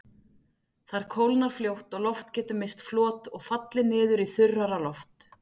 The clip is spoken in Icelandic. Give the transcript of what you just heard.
Þar kólnar fljótt og loft getur misst flot og fallið niður í þurrara loft.